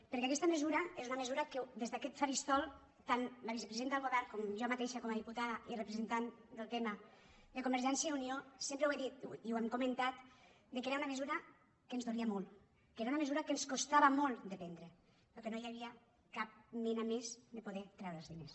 per·què aquesta mesura és una mesura que des d’aquest faristol tant la vicepresidenta del govern com jo ma·teixa com a diputada i representant del tema de con·vergència i unió sempre ho hem dit i ho hem comen·tat que era una mesura que ens dolia molt que era una mesura que ens costava molt de prendre però que no hi havia cap manera més de poder treure els diners